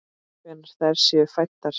Hvenær þær séu fæddar!